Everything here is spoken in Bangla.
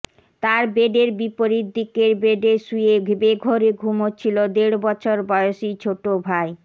তার বেডের বিপরীত দিকের বেডে শুয়ে বেঘোরে ঘুমাচ্ছিল দেড়বছর বয়সী ছোট ভাই